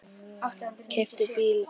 Keypti bíl og annan.